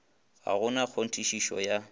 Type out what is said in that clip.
ga go na kgonthišetšo ya